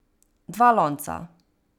Dva lonca.